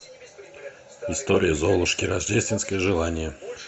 история золушки рождественское желание